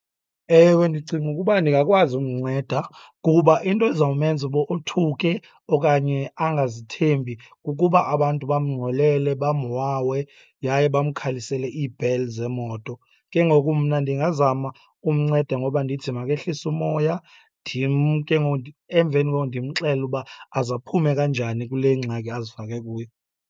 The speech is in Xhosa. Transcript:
Ewe, ndicinga ukuba ndingakwazi umnceda kuba into ezawumenza uba othuke okanye anagazithembi kukuba abantu bamngxolele, bamwawe yaye bamkhalisele iibheli zeemoto. Ke ngoku mna ndingazama ukumnceda ngoba ndithi makehlise umoya, ndim ke ngoku . Emveni koko ndimxelele uba aze aphume njani kule ngxaki azifake kuyo.